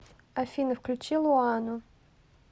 афина включи луану